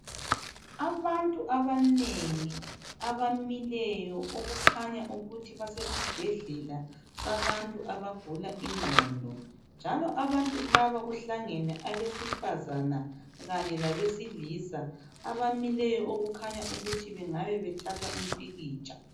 Abantu abanengi abamileyo okukhanya ukuthi basesibhedlela sabantu abagula ingqondo njalo abantu laba kuhlangene abesifazane kanye labesilisa, abamileyo okukhanya ukuthi bengabe bethatha umpikitsha.